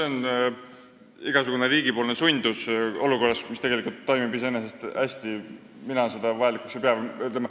Mina igasugust riigi sundust olukorras, mis iseenesest hästi toimib, vajalikuks ei pea.